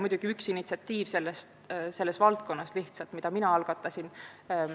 Minu initsiatiiv oli muidugi vaid üks mitmest selles valdkonnas.